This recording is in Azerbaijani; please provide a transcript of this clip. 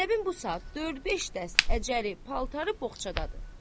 Zeynəbin bu saat dörd-beş dəst əcəri paltarı bozçadadır.